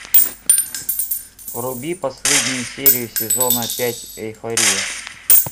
вруби последнюю серию сезона пять эйфория